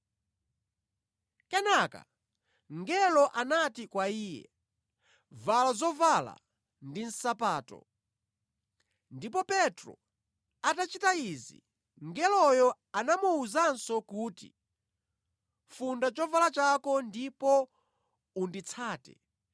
Kenaka mngelo anati kwa iye, “Vala zovala ndi nsapato.” Ndipo Petro atachita izi mngeloyo anamuwuzanso kuti, “Funda chovala chako ndipo unditsate.”